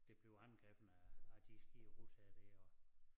Det blev angrebet af af de skide russere der og